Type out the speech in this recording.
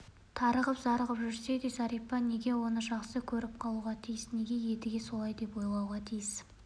тарығып зарығып жүрсе де зәрипа неге оны жақсы көріп қалуға тиіс неге едіге солай деп ойлауға тиіс